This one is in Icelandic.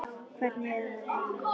Hvernig er að vera ein?